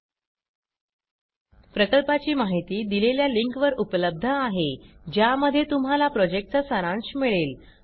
सदर प्रकल्पाची माहिती देणारा व्हिडीओ खालील लिंकवर उपलब्ध आहे ज्यामध्ये तुम्हाला ह्या प्रॉजेक्टचा सारांश मिळेल